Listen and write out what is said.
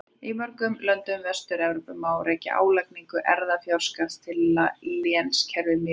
Í mörgum löndum Vestur-Evrópu má rekja álagningu erfðafjárskatts til lénskerfis miðalda.